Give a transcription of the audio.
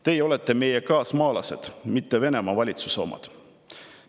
Teie olete meie kaasmaalased, mitte Venemaa valitsuse omad.